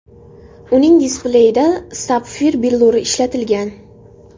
Uning displeyida sapfir billuri ishlatilgan.